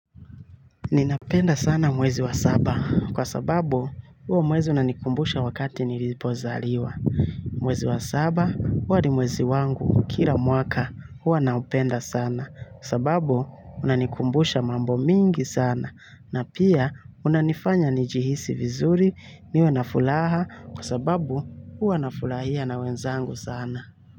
Ninapenda sana mwezi wa saba kwa sababu huomwezi unanikumbusha wakati nilipozaliwa. Mwezi wa saba huwa ni mwezi wangu kila mwaka huwa naupenda sana kwa sababu unanikumbusha mambo mingi sana na pia unanifanya nijihisi vizuri niwe na furaha kwa sababu huwa nafurahia na wenzangu sana.